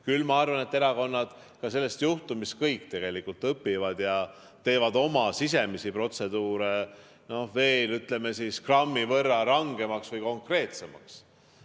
Küll ma arvan, et erakonnad sellest juhtumist kõik tegelikult õpivad ja teevad oma sisemisi protseduure veel grammi võrra rangemaks või konkreetsemaks.